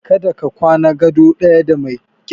Kada ka kwana gado ɗaya da mai kyazbi!